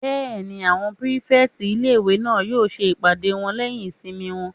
Bẹ́ẹ̀ni, àwọn pírífẹ̀tì ilé-ìwé náà yóò ṣe ìpàdé wọn lẹ́yìn ìsinmi wọn